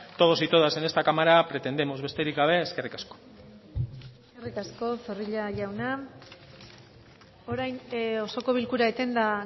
todos y todas en esta cámara pretendemos besterik gabe eskerrik asko eskerrik asko zorrilla jauna orain osoko bilkura etenda